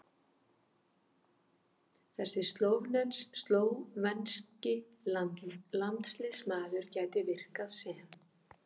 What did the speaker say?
Þessi slóvenski landsliðsmaður gæti virkað sem